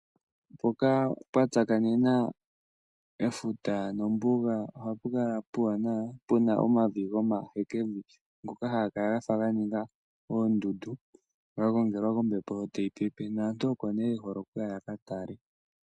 Mpoka pwa tsakanena efuta nombuga ohapu kala puwanawa puna omavi gomahekevi ngoka, haga kala gafa ganinga oondundu gagongelwa kombepo shotayi pepe, naantu oko ne yohole okuya ya kakale.